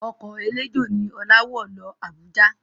Ọkọ̀ eléjò ni Ọlá wọ̀ lọ Abuja